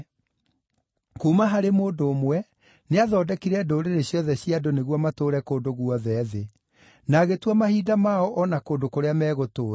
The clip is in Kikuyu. Kuuma harĩ mũndũ ũmwe, nĩathondekire ndũrĩrĩ ciothe cia andũ nĩguo matũũre kũndũ guothe thĩ; na agĩtua mahinda mao o na kũndũ kũrĩa megũtũũra.